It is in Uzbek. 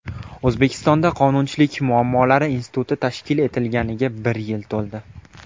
O‘zbekistonda Qonunchilik muammolari instituti tashkil etilganiga bir yil to‘ldi.